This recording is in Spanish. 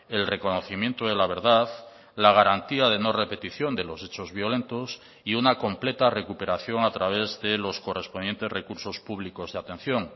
el reconocimiento de la verdad la garantía de no repetición de los hechos violentos y una completa recuperación a través de los correspondientes recursos públicos de atención